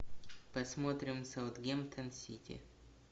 посмотрим саутгемптон сити